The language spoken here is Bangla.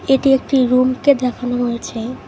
এটি একটি রুমকে দেখানো হয়েছে।